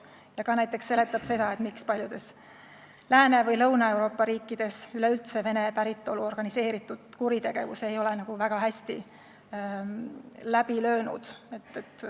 See näiteks seletab seda, miks paljudes Lääne- või Lõuna-Euroopa riikides ei ole üleüldse vene päritolu organiseeritud kuritegevus väga hästi läbi löönud.